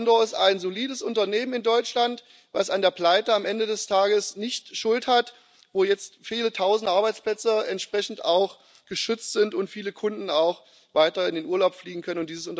Condor ist ein solides Unternehmen in Deutschland, das an der Pleite am Ende des Tages nicht schuld ist, wo jetzt viele Tausend Arbeitsplätze entsprechend auch geschützt sind und viele Kunden auch weiter in den Urlaub fliegen können